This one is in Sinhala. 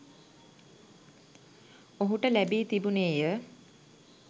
ඔහුට ලැබී තිබුණේ ය.